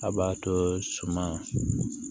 A b'a to suma